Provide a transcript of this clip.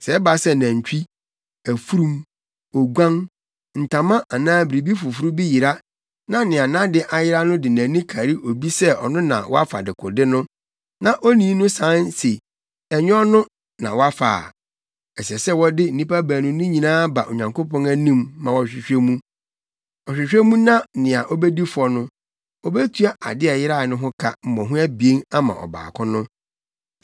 Sɛ ɛba sɛ nantwi, afurum, oguan, ntama anaa biribi foforo bi yera na nea nʼade ayera no de nʼani kari obi sɛ ɔno na wafa dekode no, na onii no san se ɛnyɛ ɔno na wafa a, ɛsɛ sɛ wɔde nnipa baanu no nyinaa ba Onyankopɔn anim ma ɔhwehwɛ mu. Ɔhwehwɛ mu na nea obedi fɔ no, obetua ade a ɛyerae no ho ka mmɔho abien ama ɔbaako no.